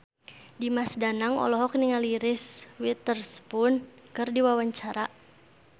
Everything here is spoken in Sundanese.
Dimas Danang olohok ningali Reese Witherspoon keur diwawancara